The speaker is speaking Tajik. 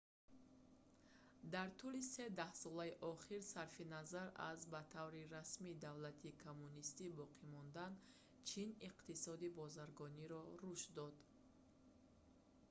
дар тӯли се даҳсолаи охир сарфи назар аз ба таври расмӣ давлати коммунистӣ боқӣ мондан чин иқтисоди бозаргониро рушд дод